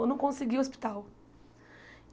Eu não consegui hospital.